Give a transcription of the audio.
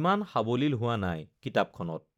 ইমান সাৱলীল হোৱা নাই কিতাপখনত